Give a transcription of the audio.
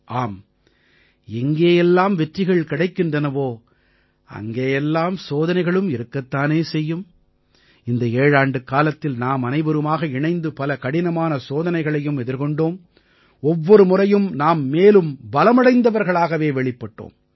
ஆம் எங்கே எல்லாம் வெற்றிகள் கிடைக்கின்றனவோ அங்கே எல்லாம் சோதனைகளும் இருக்கத் தானே செய்யும் இந்த ஏழாண்டுக்காலத்தில் நாமனைவருமாக இணைந்து பல கடினமான சோதனைகளையும் எதிர்கொண்டோம் ஒவ்வொரு முறையும் நாம் மேலும் பலமடைந்தவர்களாகவே வெளிப்பட்டோம்